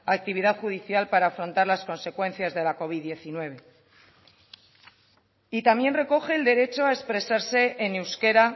actividad judicial para afrontar las consecuencias de la covid hemeretzi y también recoge el derecho a expresarse en euskera